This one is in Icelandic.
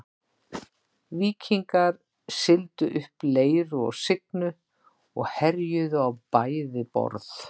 Víkingar sigldu upp Leiru og Signu og herjuðu á bæði borð.